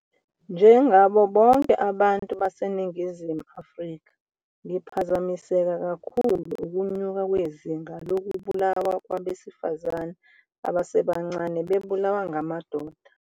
Njengabo bonke abantu baseNingizimu Afrika, ngiphazamiseke kakhulu ukwenyuka kwezinga lokubulawa kwabesifazane abasebancane bebulawa ngamadoda.